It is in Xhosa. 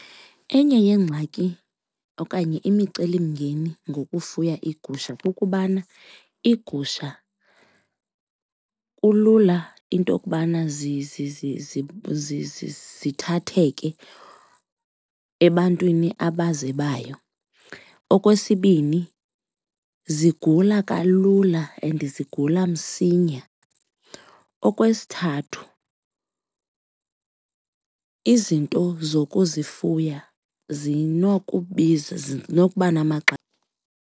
Enye yeengxaki okanye imicelimngeni ngokufuya iigusha kukubana iigusha kulula into yokubana zithatheke ebantwini abazebayo. Okwesibini, zigula kalula and zigula msinya. Okwesithathu, izinto zokuzifuya zinokubiza zinokuba .